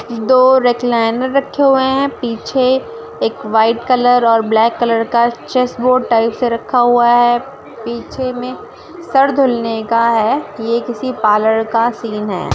दो रेक्लायनर रखे हुए है पीछे एक व्हाइट कलर और ब्लॅक कलर का चेस बोर्ड टाइप सा रखा हुआ है पीछे मे सर धुलने के है ये किसी पार्लर का सीन है ।